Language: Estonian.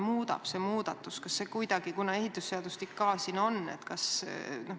Ja kas see muudatus nüüd muudab midagi?